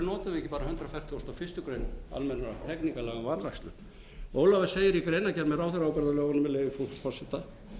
fertugasta og fyrstu grein almennra hegningarlaga um vanrækslu ólafur segir í greinargerð með ráðherraábyrgðarlögunum með leyfi frú forseta